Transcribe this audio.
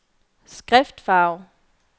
skriftfarve